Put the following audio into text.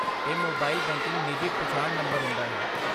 ਇਹ mobile banking ਨਿੱਜੀ ਪਛਾਣ ਨੰਬਰ ਹੁੰਦਾ ਹੈ।